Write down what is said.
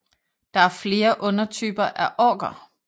Der er flere undertyper af Orker